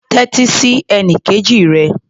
Tẹ́tí sí ẹnikejì rẹ.